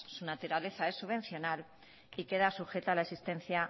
su naturaleza es subvencional y queda sujeta a la existencia